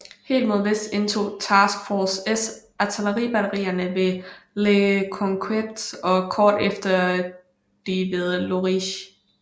Helt mod vest indtog Task force S artilleribatterierne ved Le Conquet og kort efter de ved Lochrist